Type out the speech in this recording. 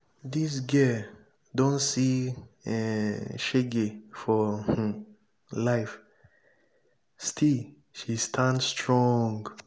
dis girl don see um shege for um life still she stand strong.